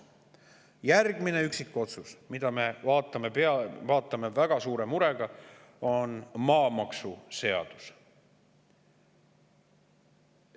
Järgmine üksikotsus, mida me vaatame väga suure murega, on maamaksuseaduse kohta.